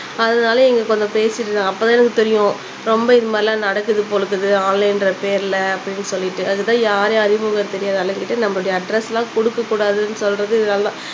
அதுனால எங்களுக்கு கொஞ்சம் பேசிருந்தாங்க அப்ப தான் எங்களுக்கு தெரியும் ரொம்ப இது மாதிரிலாம் நடக்குது போல இருக்குது ஆன்லைன் ன்ற பேருல அப்படினு சொல்லிட்டு அதுக்கு தான் யாரையும் அறிமுகம் தெரியாத ஆளுங்கக்கிட்ட நம்மளோட அட்ரெஸ் எல்லாம் குடுக்கக் கூடாதுனு சொல்றது இதுனால தான்